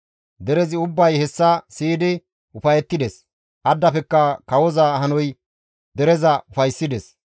Derezi ubbay hessa be7idi ufayettides; addafekka kawoza hanoy dereza ufayssides.